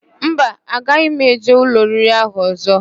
Mba, agaghị m eje ụlọ oriri ahụ ọ̀zọ́.